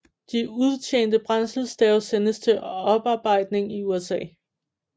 De udtjente brændselsstave sendes til oparbejdning i USA